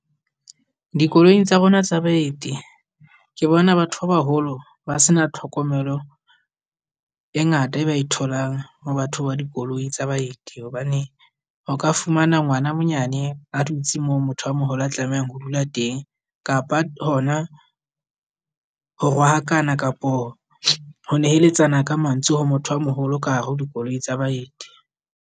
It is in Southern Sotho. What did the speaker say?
Dikoloing tsa rona tsa baeti ke bona batho ba baholo ba se na tlhokomelo e ngata e ba e tholang mo batho ba dikoloi tsa baeti. Hobane o ka fumana ngwana a monyane a dutse mo motho a moholo a tlamehang ho dula teng, kapa hona ho rohakana kapo ho neheletsana ka mantswe ho motho a moholo ka hare ho dikoloi tsa baeti.